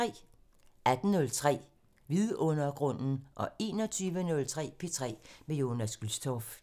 18:03: Vidundergrunden 21:03: P3 med Jonas Gülstorff